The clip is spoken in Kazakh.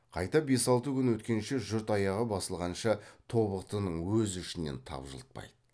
қайта бес алты күн өткенше жұрт аяғы басылғанша тобықтының өз ішінен тапжылтпайды